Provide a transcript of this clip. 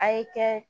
A ye kɛ